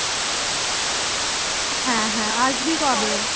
হ্যাঁ হ্যাঁ আসবি কবে